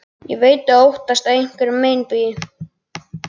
Ég veit að þú óttast einhverja meinbugi.